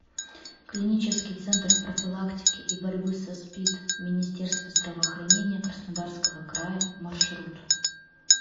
клинический центр профилактики и борьбы со спид министерства здравоохранения краснодарского края маршрут